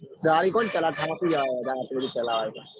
ગાડી કોણ ચલાવ થાકી જવાય